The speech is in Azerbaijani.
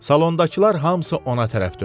Salondakılar hamısı ona tərəf döndü.